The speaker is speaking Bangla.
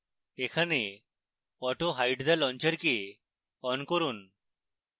এখানে autohide the launcher কে on করুন